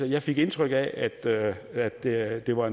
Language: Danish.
jeg fik indtryk af af at det at det var